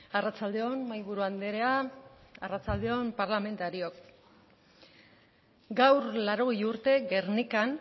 arratsalde on mahaiburu andrea arratsalde on parlamentariok gaur laurogei urte gernikan